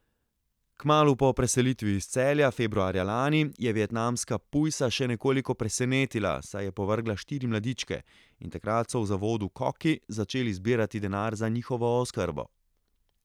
Kmalu po preselitvi iz Celja, februarja lani, je vietnamska pujsa še nekoliko presenetila, saj je povrgla štiri mladičke, in takrat so v Zavodu Koki začeli zbirati denar za njihovo oskrbo.